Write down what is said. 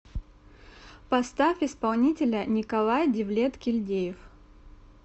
поставь исполнителя николай девлет кильдеев